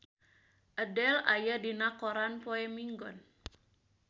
Adele aya dina koran poe Minggon